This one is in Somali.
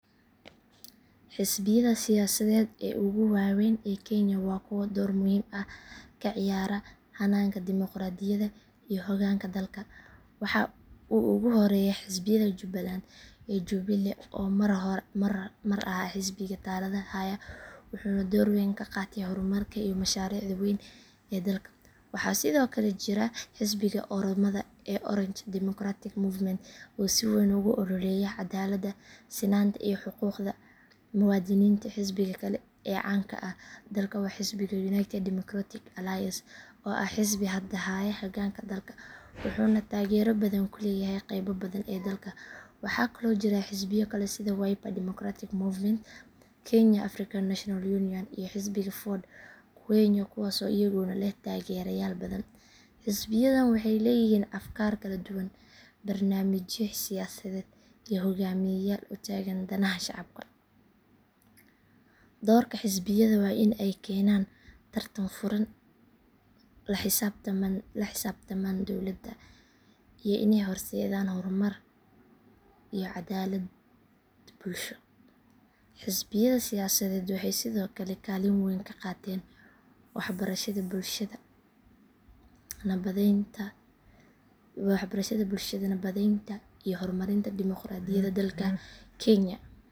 Xisbiyada siyaasadeed ee ugu waaweyn ee kenya waa kuwo door muhiim ah ka ciyaara hannaanka dimuqraadiyadda iyo hoggaanka dalka. Waxaa ugu horreeya xisbiga jubbaland ee jubilee oo mar ahaa xisbiga talada haya wuxuuna door weyn ka qaatay horumarka iyo mashaariicda waaweyn ee dalka. Waxaa sidoo kale jira xisbiga oromada ee orange democratic movement oo si weyn ugu ololeeya cadaaladda, sinaanta iyo xuquuqda muwaadiniinta. Xisbiga kale ee caan ka ah dalka waa xisbiga united democratic alliance oo ah xisbiga hadda haya hoggaanka dalka wuxuuna taageero badan ku leeyahay qaybo badan oo dalka ah. Waxaa kaloo jira xisbiyo kale sida wiper democratic movement, kenya african national union iyo xisbiga ford kenya kuwaas oo iyaguna leh taageerayaal badan. Xisbiyadan waxay leeyihiin afkaar kala duwan, barnaamijyo siyaasadeed iyo hogaamiyeyaal u taagan danaha shacabka. Doorka xisbiyada waa in ay keenaan tartan furan, la xisaabtamaan dowladda, iyo inay horseedaan horumar iyo cadaalad bulsho. Xisbiyada siyaasadeed waxay sidoo kale kaalin weyn ka qaataan waxbarashada bulshada, nabadeynta iyo horumarinta dimoqraadiyadda dalka kenya.